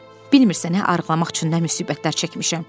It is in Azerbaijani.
Bilmirsin hə arıqlamaq üçün nə müsibətlər çəkmişəm.